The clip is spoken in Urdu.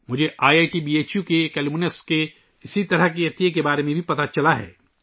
مجھے I I T B H U کے ایک سابق طالب علم کی طرف سے بھی اسی طرح کے عطیہ کے بارے میں معلوم ہوا ہے